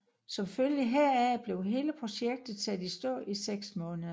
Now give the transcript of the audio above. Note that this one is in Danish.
Som følge heraf blev hele projektet sat i stå i seks måneder